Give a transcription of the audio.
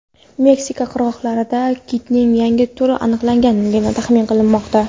Meksika qirg‘oqlarida kitning yangi turi aniqlangani taxmin qilinmoqda.